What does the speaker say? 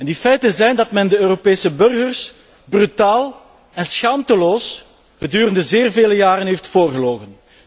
Die feiten zijn dat men de Europese burgers brutaal en schaamteloos gedurende zeer vele jaren heeft voorgelogen.